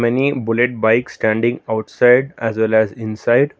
many bullet bike standing outside as well as inside.